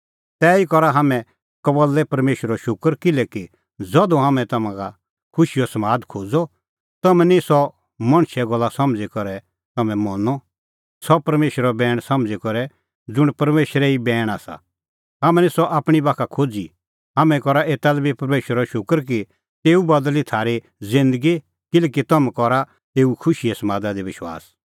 तैही करा हाम्हैं कबल्लै परमेशरो शूकर किल्हैकि ज़धू हाम्हैं तम्हां का खुशीओ समाद खोज़अ तम्हैं निं सह मणछे गल्ला समझ़ी पर तम्हैं मनअ सह परमेशरो बैण समझ़ी करै ज़ुंण परमेशरो ई बैण आसा हाम्हैं निं सह आपणीं बाखा खोज़ी हाम्हैं करा एता लै बी परमेशरो शूकर कि तेऊ बदल़ी थारी ज़िन्दगी किल्हैकि तम्हैं करा एऊ खुशीए समादा दी विश्वास